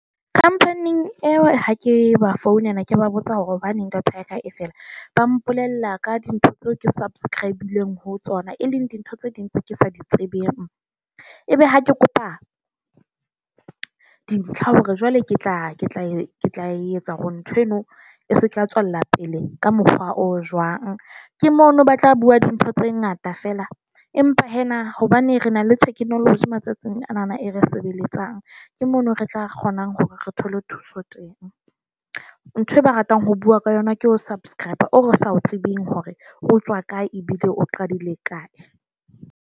Company-ing eo ha ke ba founela ke ba botsa hore hobaneng data ya ka e fela ba mpolella ka dintho tseo ke subscrib-ileng ho tsona e leng dintho tse ding tse ke sa di tsebeng. Ebe ha ke kopa dintlha hore jwale ke tla ke tla e tla etsa hore ntho eno e se ka tswella pele ka mokgwa o jwang ke mono ba tla bua dintho tse ngata fela, empa hee na hobane re na le technology matsatsing anana e re sebeletsang ke mono re tla kgona hore re thole thuso teng. Ntho e ba ratang ho bua ka yona ke ho subscriber o sa o tsebeng hore o tswa kae ebile o qadile kae.